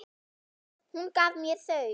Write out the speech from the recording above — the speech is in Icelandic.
Hún gaf mér þau.